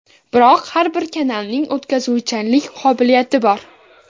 Biroq har bir kanalning o‘tkazuvchanlik qobiliyati bor.